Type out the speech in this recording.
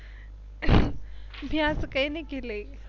मी अस काही नाही केलय.